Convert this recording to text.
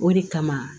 O de kama